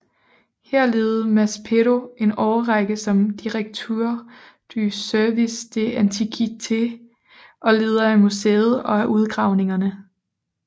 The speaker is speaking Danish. Her levede Maspero en årrække som Directeur du Service des Antiquités og leder af museet og af udgravningerne